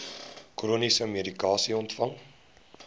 chroniese medikasie ontvang